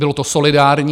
Bylo to solidární.